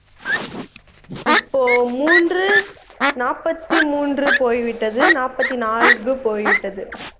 இப்போ மூன்று நாப்பத்தி மூன்று போய்விட்டது நாப்பத்தி நான்கு போய்விட்டது